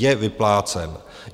Je vyplácen.